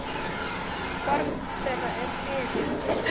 Barn þeirra er Þyrí.